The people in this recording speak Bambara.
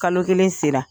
Kalo kelen sera